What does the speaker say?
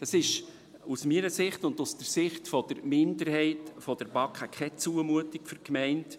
Das ist aus meiner Sicht und aus der Sicht der Minderheit der BaK keine Zumutung für die Gemeinde.